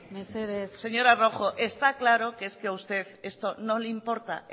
señora rojo está claro que es que a usted esto no le importa